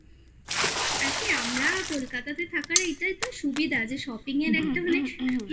আর কি আমরা Kolkata থাকার এটাই তো সুবিধা যে shopping এর একটা হলে